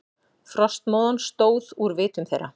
Frostmóðan stóð úr vitum þeirra.